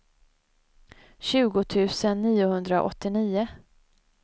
tjugo tusen niohundraåttionio